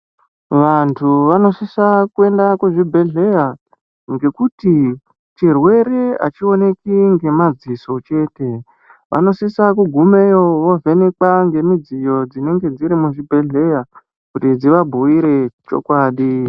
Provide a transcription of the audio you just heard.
Vantu anosisa kuenda kuzvibhedhlera ngekuti chirwere hachioneki nemadziso chete vanosisa kugumeyo kovhenekwa nemudziyo dzinenge dzirimo muchibhehleya kuti dzivabhuyire chokwadi.